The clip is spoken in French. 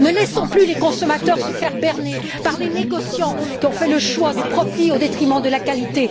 Ne laissons plus les consommateurs se faire berner par les négociants qui ont fait le choix du profit, au détriment de la qualité.